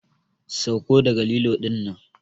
Sauko daga lilo dinnan!